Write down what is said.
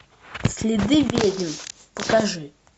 следы ведьм покажи